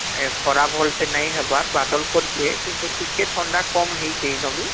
ଖରା ଭଲସେ ନାଇଁ ହବାର ବାଦଲ କରିଛେ କିନ୍ତୁ ଟିକେ ଥଣ୍ଡା କମ ହେଇଛି ଯଦି